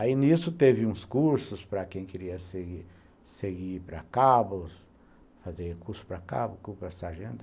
Aí, nisso, teve uns cursos para quem queria seguir para Cabos, fazer curso para Cabos, curso para sargento.